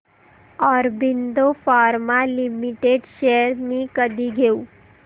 Aurobindo pharma limited shares मी कधी घेऊ